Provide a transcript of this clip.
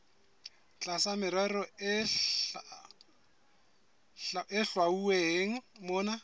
tlasa merero e hlwauweng mona